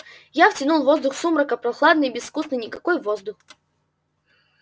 я втянул воздух сумрака прохладный безвкусный никакой воздух